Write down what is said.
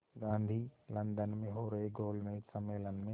Gandhi London में हो रहे गोलमेज़ सम्मेलन में